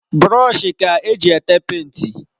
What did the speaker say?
Brọshi ka eji ete penti.